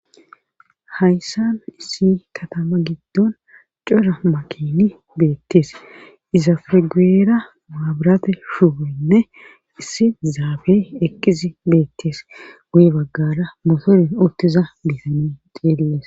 Hayssan issi katama giddon cora makiini beetees izappe guyeera maburaate shuboynne issi zaafey eqqizi beetes guye baggara motorey uttiza bitaney xeelles.